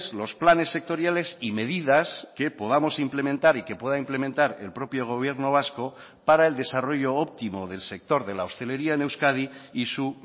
los planes sectoriales y medidas que podamos implementar y que pueda implementar el propio gobierno vasco para el desarrollo óptimo del sector de la hostelería en euskadi y su